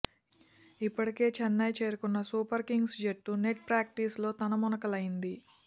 ఇప్పటికే చెన్నై చేరుకున్న super kings జట్టు నెట్ ప్రాక్టీస్ లో తలమునకలైంది